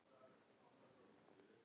Þetta er hávær